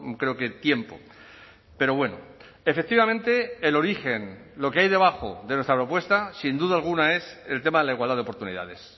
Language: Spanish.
creo que tiempo pero bueno efectivamente el origen lo que hay debajo de nuestra propuesta sin duda alguna es el tema de la igualdad de oportunidades